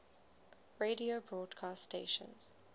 radio broadcast stations